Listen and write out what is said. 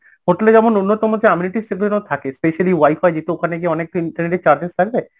hotel এ যেমন অন্যতম যে গুলো যেন থাকে specially wi-fi যেহেতু ওখানে গিয়ে অনেকটা internert এর charges থাকবে